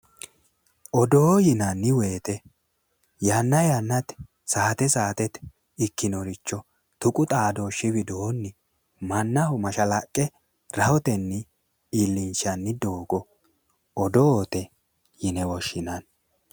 odoo yinanni woyite yanna yannate saate saatete ikkinoricho tuqu xaadooshshi widoonni mannaho mashalaqqe rahotenni iillinshanni doogo odoote yine woshshinanni.